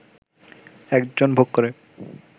একজন ভোগ করে